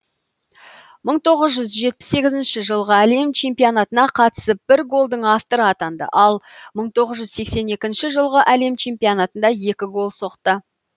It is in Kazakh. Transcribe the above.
мың тоғыз жүз жетпіс сегізінші жылғы әлем чемпионатына қатысып бір голдың авторы атанды ал мың тоғыз жүз сексен екінші жылғы әлем чемпионатында екі гол соқты